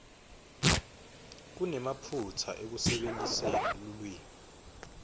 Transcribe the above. kunemaphutsa ekusebentiseni lulwimi